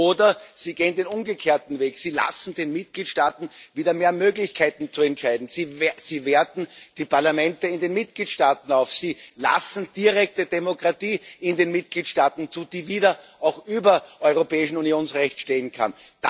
Oder Sie gehen den umgekehrten Weg, Sie lassen den Mitgliedstaaten wieder mehr Möglichkeiten zu entscheiden, Sie werten die Parlamente in den Mitgliedstaaten auf, Sie lassen direkte Demokratie in den Mitgliedstaaten zu, die auch wieder über europäischem Unionsrecht stehen kann.